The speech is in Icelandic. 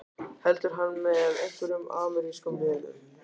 Heldur hann með einhverjum amerískum liðum?